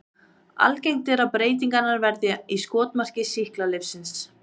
Algengt er að breytingarnar verði í skotmarki sýklalyfsins.